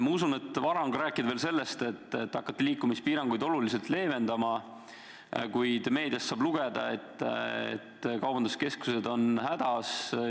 Ma usun, et vara on rääkida sellest, et te hakkate liikumispiiranguid oluliselt leevendama, kuid meediast saab lugeda, et kaubanduskeskused on hädas.